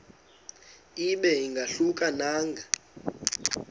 ibe ingahluka nanga